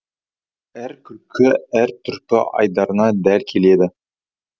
әрі күлкі әр түрпі айдарына дәл келеді